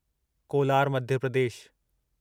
Kolar Madhya Pradesh